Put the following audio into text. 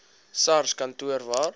sars kantoor waar